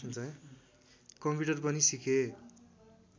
computer पनि सिकेँ